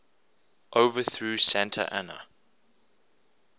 overthrew santa anna